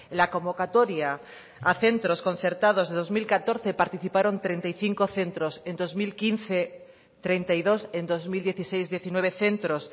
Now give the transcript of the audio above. la convocatoria a centros concertados de dos mil catorce participaron treinta y cinco centros en dos mil quince treinta y dos en dos mil dieciséis diecinueve centros